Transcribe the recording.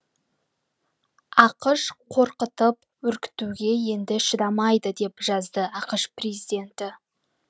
ақш қорқытып үркітуге енді шыдамайды деп жазды ақш президенті